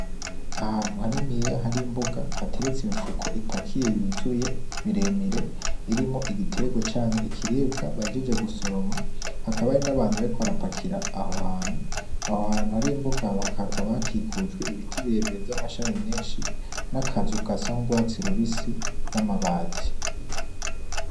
Ahantu haniniya hari imbuga hateretse imifuko ipakiye yuzuye miremire irimwo igitegwa canke ikiribwa bahejeje gusoroma, hakaba hariho n'abantu bariko barapakira aho hantu. Aho hantu hari imbuga hakikujwe ibiti birebire vy'amashami menshi n'akazu gasa n'urwatsi rubisi n'amabati.